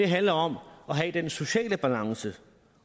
handler om at have den sociale balance